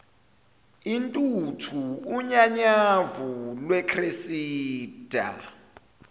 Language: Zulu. intuthu unyanyavu lwecressida